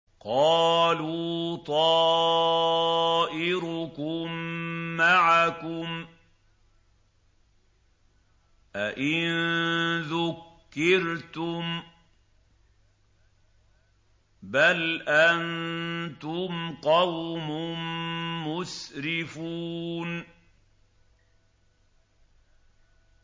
قَالُوا طَائِرُكُم مَّعَكُمْ ۚ أَئِن ذُكِّرْتُم ۚ بَلْ أَنتُمْ قَوْمٌ مُّسْرِفُونَ